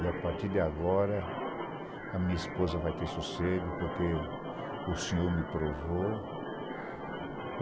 E a partir de agora, a minha esposa vai ter sossego, porque o Senhor me provou.